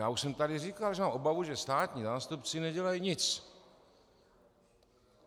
Já už jsem tady říkal, že mám obavu, že státní zástupci nedělají nic.